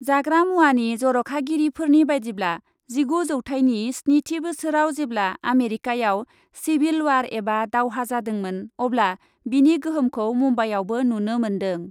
जाग्रा मुवानि जर'खागिरिफोरनि बायदिब्ला जिगु जौथाइनि स्निथि बोसोराव जेब्ला आमेरिकायाव सिभिल वार एबा दावहा जादोंमोन अब्ला बेनि गोहोमखौ मुम्बाइयावबो नुनो मोन्दों।